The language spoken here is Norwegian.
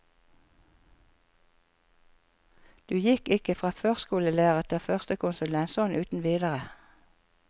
Du gikk ikke fra førskolelærer til førstekonsulent sånn uten videre.